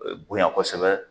E bonya kosɛbɛ